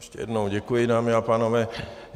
Ještě jednou děkuji, dámy a pánové.